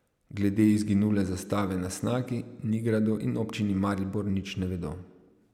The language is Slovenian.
Glede izginule zastave na Snagi, Nigradu in občini Maribor nič ne vedo.